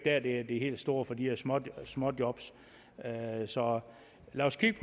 er det helt store ved de her småjob småjob så lad os kigge